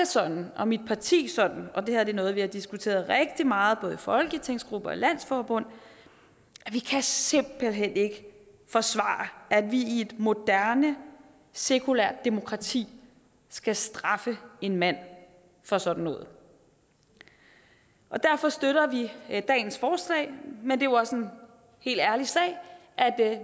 sådan og mit parti det sådan og det her er noget vi har diskuteret rigtig meget både i folketingsgruppe og i landsforbund at vi simpelt hen ikke kan forsvare at vi i et moderne sekulært demokrati skal straffe en mand for sådan noget derfor støtter vi dagens forslag men jo også en helt ærlig sag at